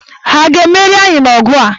Ha a ga-emeri anyị n'ọgụ a?